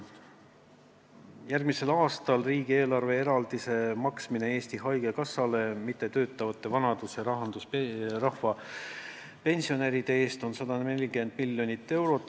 Järgmisel aastal on riigieelarve eraldis Eesti Haigekassale mittetöötavate vanadus- ja rahvapensionäride eest 140 miljonit eurot.